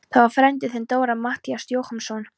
Það var frændi þinn, Dóra, Matthías Jochumsson.